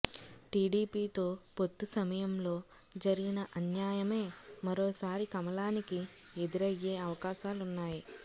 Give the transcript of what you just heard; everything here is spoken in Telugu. టీడీపీతో పొత్తు సమయంలో జరిగిన అన్యాయమే మరోసారి కమలానికి ఎదురయ్యే అవకాశాలున్నాయి